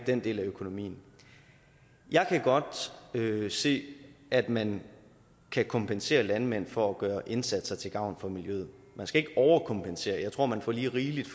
den del af økonomien jeg kan godt se at man kan kompensere landmænd for at gøre indsatser til gavn for miljøet man skal ikke overkompensere jeg tror man får lige rigeligt